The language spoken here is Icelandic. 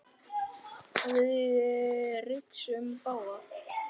Við rigsum báðar.